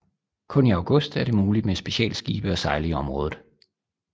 Kun i august er det muligt med specialskibe at sejle i området